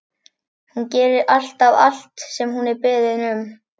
Hún gerir alltaf allt sem hún er beðin um.